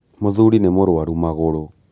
Mũthuri nĩmũrwaru magũrũ.